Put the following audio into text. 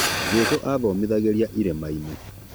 Jesũ athomithagĩria ĩrima-inĩ